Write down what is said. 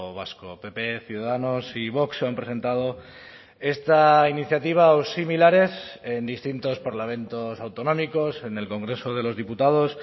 vasco pp ciudadanos y vox han presentado esta iniciativa o similares en distintos parlamentos autonómicos en el congreso de los diputados